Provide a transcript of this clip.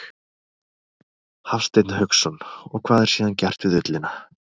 Hafsteinn Hauksson: Og hvað er síðan gert við ullina?